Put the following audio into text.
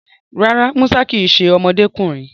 Rárá, Musa kì í ṣe ọmọdékùnrin